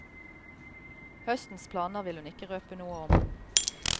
Høstens planer vil hun ikke røpe noe om.